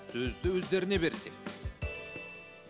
сөзді өздеріне берсек